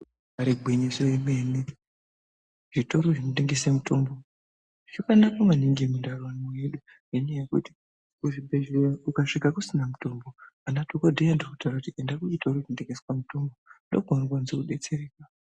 Ibari gwinyiso yemene zvitoro zvinotengese mitombo zvakanaka maningi mundaramo yedu ngenyaya yekuti kuzvibhedhleya ukadvika kusina mitombo ana dhokodheya anotokutaurire kuti enda kuchikoro kunotengeswa mitombo ndokwaunokwanisa kudetsereka.